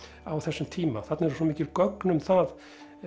á þessum tíma þarna eru svo mikil gögn um það